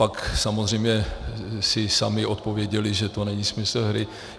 Pak samozřejmě si sami odpověděli, že to není smysl hry.